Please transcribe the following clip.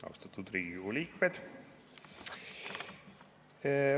Austatud Riigikogu liikmed!